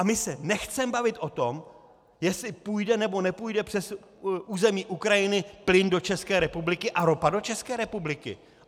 A my se nechceme bavit o tom, jestli půjde, nebo nepůjde přes území Ukrajiny plyn do České republiky a ropa do České republiky?